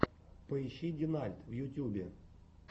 поищи динальт в ютьюбе